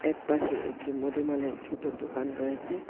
একপাশে একটি মুদি মালের ছোট দোকান রয়েছে।